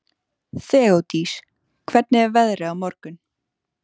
Þeódís, hvernig er veðrið á morgun?